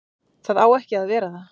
Það á ekki að vera það.